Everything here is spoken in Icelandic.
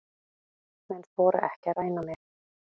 Menn þora ekki að ræna mig.